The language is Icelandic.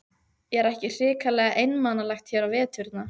Er ekki hrikalega einmanalegt hér á veturna?